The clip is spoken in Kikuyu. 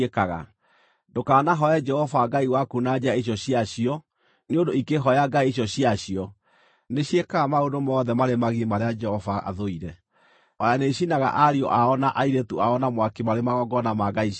Ndũkanahooe Jehova Ngai waku na njĩra icio ciacio, nĩ ũndũ ikĩhooya ngai icio ciacio, nĩciĩkaga maũndũ mothe marĩa marĩ magigi marĩa Jehova athũire. O na nĩicinaga ariũ ao na airĩtu ao na mwaki marĩ magongona ma ngai ciacio.